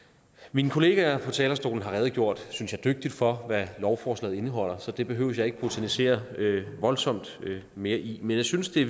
mine kollegaer på talerstolen har redegjort synes jeg dygtigt for hvad lovforslaget indeholder så det behøver jeg ikke botanisere voldsomt mere i men jeg synes det